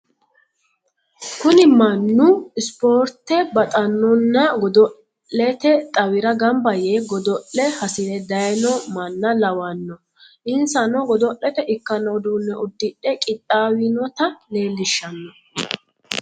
Kuni mannu ispoorte baxannonna godo'lete xawira gamba yee godo'le hasire daayino manna lawanno insano godo'lete ikkanno uduunne uddire qixxaawinota leellishshanno.